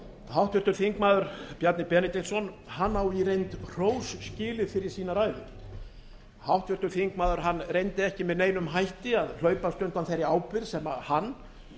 háttvirtur þingmaður bjarni benediktsson á í reynd hrós skilið fyrir sína ræðu háttvirtur þingmaður reyndi ekki með neinum hætti að hlaupast undan þeirri ábyrgð sem hann